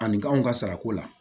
Ani k'anw ka sarako la